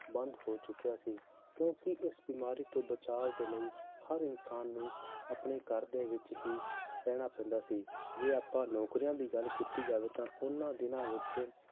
ਬੰਦ ਹੋ ਚੁੱਕਿਆ ਸੀ ਕਿਉਂਕਿ ਇਸ ਬਿਮਾਰੀ ਤੋਂ ਬਚਾਵ ਦੇ ਲਈ ਹਰ ਇਨਸਾਨ ਨੂੰ ਆਪਣੇ ਘਰ ਦੇ ਵਿੱਚ ਹੀ ਰਹਿਣਾ ਪੈਂਦਾ ਸੀ ਜੇ ਆਪਾਂ ਨੌਕਰੀਆਂ ਦੀ ਗੱਲ ਕੀਤੀ ਜਾਵੇ ਤਾਂ ਉਹਨਾਂ ਦਿਨਾਂ ਵਿੱਚ